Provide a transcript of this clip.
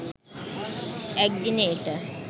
একদিনে এটা